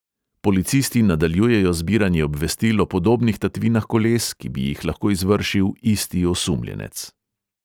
Policisti nadaljujejo zbiranje obvestil o podobnih tatvinah koles, ki bi jih lahko izvršil isti osumljenec.